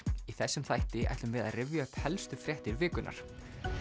í þessum þætti ætlum við að rifja upp helstu fréttir vikunnar